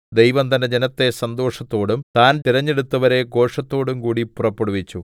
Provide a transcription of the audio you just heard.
ദൈവം തന്റെ ജനത്തെ സന്തോഷത്തോടും താൻ തിരഞ്ഞെടുത്തവരെ ഘോഷത്തോടും കൂടി പുറപ്പെടുവിച്ചു